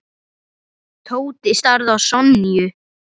Tóti starði á Sonju.